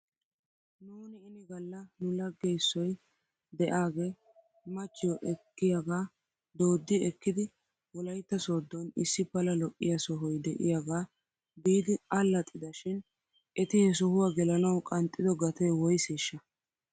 Nuuni ini gala nulage issoy de'aagee machciyoo ekkiyaagaa doodi ekkidi wolaytta sooddon issi pala lo'iyaa sohoy de'iyaagaa biidi allaxida shin eti he sohuwaa gelanaw qanxxido gatee woyseeshsha?